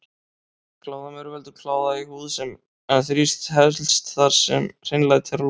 Kláðamaur veldur kláða í húð en þrífst helst þar sem hreinlæti er á lágu stigi.